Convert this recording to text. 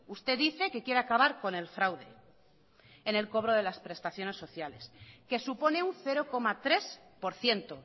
usted dice que quiere acabar con el fraude en el cobro de las prestaciones sociales que supone un cero coma tres por ciento